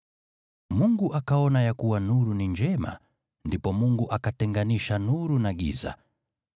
Mungu akaona ya kuwa nuru ni njema, ndipo Mungu akatenganisha nuru na giza.